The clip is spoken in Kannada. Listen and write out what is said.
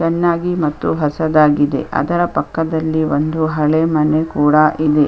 ಚೆನ್ನಾಗಿ ಮತ್ತು ಹಸದಾಗಿದೆ ಅದರ ಪಕ್ಕದಲ್ಲಿ ಒಂದು ಹಳೆ ಮನೆ ಕೂಡ ಇದೆ .